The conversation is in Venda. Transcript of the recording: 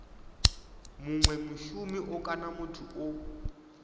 munwe mushumi kana muthu o